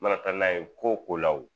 Mana taa n'a ye ko o ko la o